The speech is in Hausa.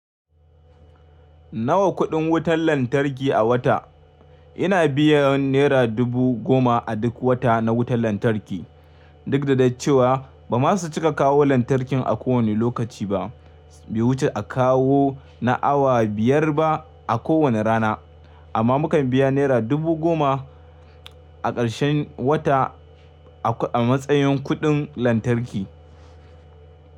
Nawa kuɗin wutar lantarki a wata? Ina biyan nera dubu goma a duk wata na wutar lantarki, duk da dai cewa ba ma su cika kawo lantarkin a kowane lokaci ba. Bai wuce a kawo na awa biyar ba a kowane rana, amma mu kan biya naira dubu goma a ƙarshen wata a matsayin kuɗin lantarki.